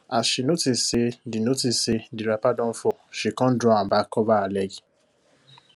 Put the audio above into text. as she notice say the notice say the wrapper don fall she con draw am back cover her leg